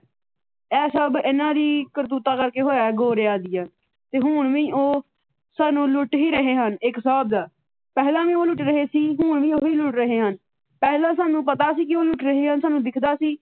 ਇਹ ਸਭ ਇਹਨਾ ਦੀ ਕਰਤੂਤਾਂ ਕਰਕੇ ਹੋਇਆ ਗੋਰਿਆਂ ਦੀਆਂ ਤੇ ਹੁਣ ਵੀ ਉਹ ਸਾਨੂੰ ਲੁੱਟ ਹੀ ਰਹੇ ਹਨ ਇੱਕ ਹਿਸਾਬ ਦਾ। ਪਹਿਲਾਂ ਵੀ ਉਹ ਲੁੱਟ ਰਹੇ ਸੀ ਹੁਣ ਵੀ ਉਹੀ ਲੁੱਟ ਰਹੇ ਹਨ। ਪਹਿਲਾ ਸਾਨੂੰ ਪਤਾ ਸੀ ਉਹ ਲੁੱਟ ਰਹੇ ਹਨ ਸਾਨੂੰ ਦਿੱਖਦਾ ਸੀ।